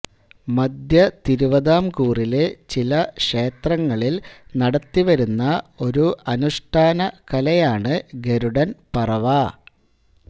മദ്ധ്യതിരുവിതാംകൂറിലെ ചില ക്ഷേത്രങ്ങളിൽ നടത്തിവരുന്ന ഒരു അനുഷ്ഠാന കലയാണ് ഗരുഡൻ പറവ